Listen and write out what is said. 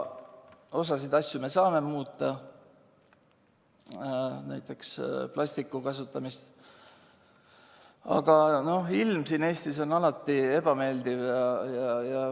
Osa asju me saame muuta, näiteks plastiku kasutamist, aga ilm siin Eestis on alati ebameeldiv.